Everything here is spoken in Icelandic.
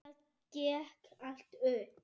Það gekk allt upp.